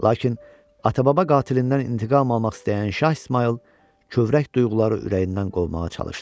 Lakin ata-baba qatilindən intiqam almaq istəyən Şah İsmayıl kövrək duyğuları ürəyindən qovmağa çalışdı.